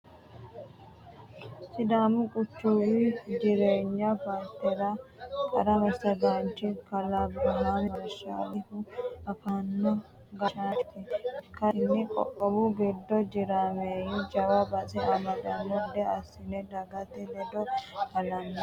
Sidaamu qoqqowi jireeny paartera qaru massagaanchi kalaa Abriham Marashalhu afamino gashshaanchoti ikkasinni qoqqowu giddo jireenyu jawa base amadano gede assino dagate ledo halame